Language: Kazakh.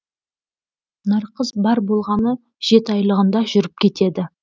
нарқыз бар болғаны жеті айлығында жүріп кетеді